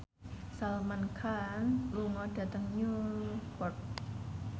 Salman Khan lunga dhateng Newport